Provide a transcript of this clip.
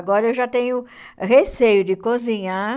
Agora, eu já tenho receio de cozinhar